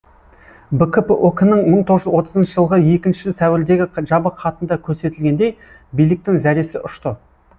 бкп ок нің мың тоғыз жүз отызыншы жылғы екінші сәуірдегі жабық хатында көрсетілгендей биліктің зәресі ұшты